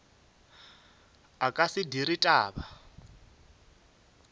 a ka se dire taba